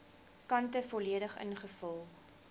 kante volledig ingevul